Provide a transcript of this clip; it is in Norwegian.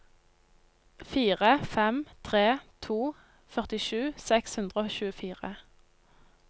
fire fem tre to førtisju seks hundre og tjuefire